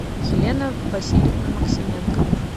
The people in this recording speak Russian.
елена васильевна максименко